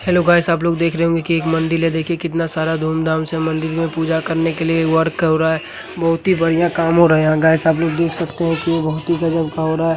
Hello guys आप लोग देख रहे होंगे कि एक मंदिर है देखिये कितना सारा धूम धाम से मंदिर में पूजा करने के लिए वर्क हो रहा है बहुत ही बढ़िया काम हो रहा है। गाइस आप लोग देख सकते हैं की बहुत ही गजब का हो रहा है।